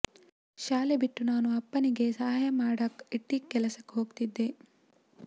ಶಾಲೆ ಬಿಟ್ಟು ನಾನೂ ಅಪ್ಪನಿಗೆ ಸಹಾಯ ಮಾಡಾಕ್ ಇಟ್ಟಿಗಿ ಕೆಲಸಕ್ಕ ಹೋಗ್ತಿದ್ದೆ